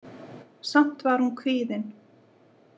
Samt var hún kvíðin.